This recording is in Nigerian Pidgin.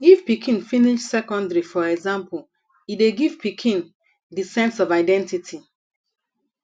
if pikin finish secondary for example e dey give pikin di sense of identity